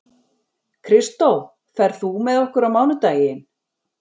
Kristó, ferð þú með okkur á mánudaginn?